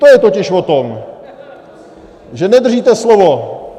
To je totiž o tom, že nedržíte slovo.